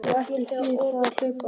Og ekki þýðir þér að hlaupa undan.